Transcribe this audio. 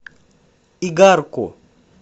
игарку